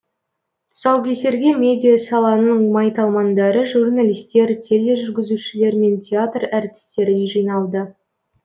тұсаукесерге медиа саланың майталмандары журналистер тележүргізушілер мен театр әртістері жиналды